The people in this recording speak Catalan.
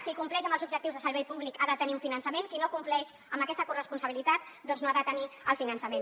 qui compleix amb els objectius de servei públic ha de tenir un finançament qui no compleix amb aquesta corresponsabilitat doncs no ha de tenir el finançament